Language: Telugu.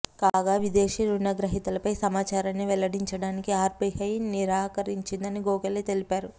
కాగా విదేశీ రుణగ్రహీతలపై సమాచారాన్ని వెల్లడించడానికి ఆర్బీఐ నిరాకరించిందని గోఖలే తెలిపారు